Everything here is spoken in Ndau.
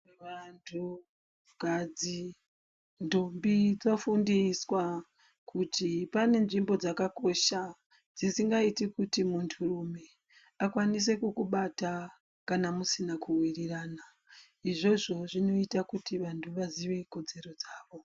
Vantukadzi, ndombi dzofundiswa kuti pane nzvimbo dzakakosha dzisingaiti kuti munturume akwanise kukubata, kana musina kuwirirana izvozvo zvinoita kuti vanthu vaziye kodzero dzavo.